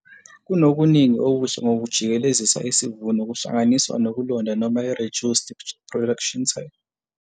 Kunokuningi okuhle ngokujikelezisa isivuno kuhlanganiswa nokulonda noma ireduced tillage production system.